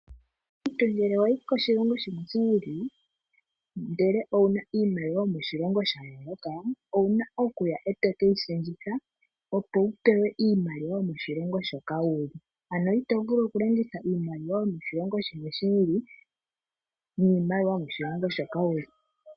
Omuntu ngele wayi koshilongo shimwe shi ili ndele owuna iimaliwa yomoshilongo sha yooloka owuna okuya okuyi shendjitha opo wu pewe iimaliwa yomoshilongo shoka wuli ano ito vulu okulongitha iimaliwa yoshilongo shimwe shi ili niimaliwa yomoshilongo moka wuli.